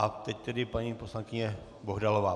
A teď tedy paní poslankyně Bohdalová.